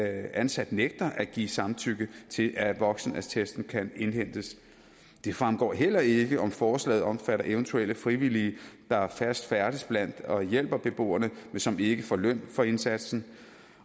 ansat nægter at give samtykke til at voksenattesten kan indhentes det fremgår heller ikke om forslaget omfatter eventuelle frivillige der fast færdes blandt beboerne og hjælper beboerne men som ikke får løn for indsatsen